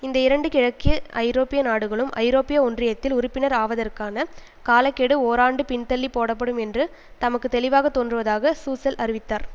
இந்த இரண்டு கிழக்கு ஐரோப்பிய நாடுகளும் ஐரோப்பிய ஒன்றியத்தில் உறுப்பினர் ஆவதற்கான கால கெடு ஓராண்டு பின்தள்ளிப் போடப்படும் என்று தமக்கு தெளிவாக தோன்றுவதாக சூசெல் அறிவித்தார்